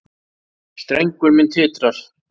Strengur minn titrar.